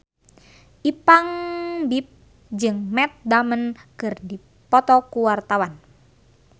Ipank BIP jeung Matt Damon keur dipoto ku wartawan